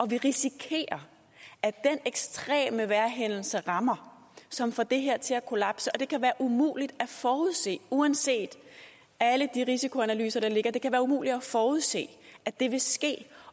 vi risikerer at den ekstreme vejrhændelse rammer som får det her til at kollapse og det kan være umuligt at forudse uanset alle de risikoanalyser der ligger det kan være umuligt at forudse at det vil ske